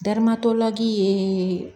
Darimatɔlaki ye